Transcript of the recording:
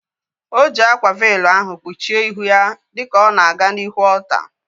O ji akwa veelu ahu kpuchie ihu ya dịka ọ na-aga n'ihu ọlta